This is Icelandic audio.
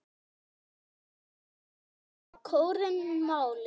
Loksins fær kórinn málið.